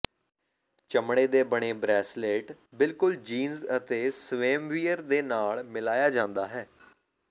ਚਮੜੇ ਦੇ ਬਣੇ ਬ੍ਰੇਸਲੇਟ ਬਿਲਕੁਲ ਜੀਨਸ ਅਤੇ ਸਵੈਮਵੀਅਰ ਦੇ ਨਾਲ ਮਿਲਾਇਆ ਜਾਂਦਾ ਹੈ